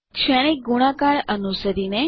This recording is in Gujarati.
શ્રેણિક ગુણાકાર અનુસરીને